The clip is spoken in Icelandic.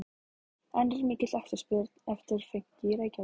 En er mikil eftirspurn eftir fönki í Reykjavík?